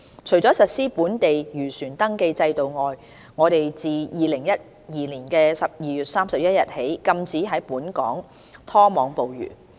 除了實施本地漁船登記制度外，我們自2012年12月31日起禁止在本港拖網捕魚。